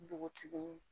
Npogotiginin